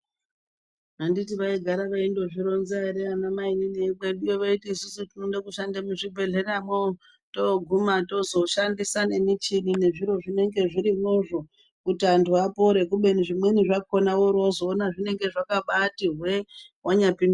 Anditi vaigara veindo zvironza ere ana mainini vekwedu veyiti isusu tinode kushanda mu zvibhedhlera mo toguma tozo shandisa ne michini ne zvirozvo zvinenge zvirimo zvo kuti antu apore kubeni zvimweni zvakona wori wozo ona zvinenge zvakati hwe wanya pinda.